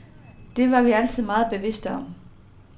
Det var vi altid meget bevidste om.